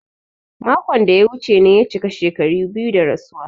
Makon da ya wuce ne ya cika shekaru biyu da rasuwa.